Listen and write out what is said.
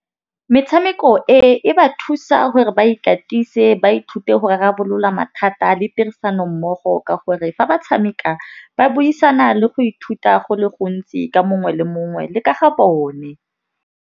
Metšhameko e e ba thusa gore ba ikatise ba ithute go rarabolola mathata le tirisano mmogo. Ka gore fa ba tšhameka ba buisana le go ithuta go le gontsi ka mongwe le mongwe le ka ga bone.